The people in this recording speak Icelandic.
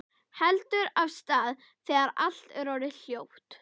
Heldur af stað þegar allt er orðið hljótt.